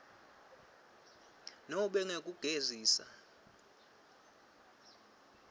nobe ngekugegisa ngesizatfu